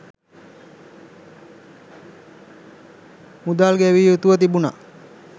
මුදල් ගෙවිය යුතුව තිබුණා